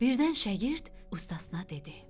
Birdən şagird ustasına dedi: